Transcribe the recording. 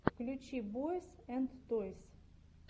включи бойз энд тойс